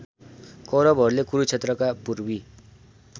कौरवहरूले कुरुक्षेत्रका पूर्वी